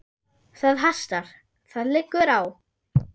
Það hastar: það liggur á.